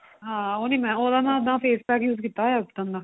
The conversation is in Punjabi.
ਹਾਂ ਉਹ ਨੀ ਮੈਂ ਉਹਦਾ ਤਾਂ face pack use ਕੀਤਾ ਹੋਇਆ Ubtan ਦਾ